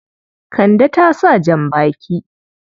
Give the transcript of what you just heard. Kande ta sa jan-baki.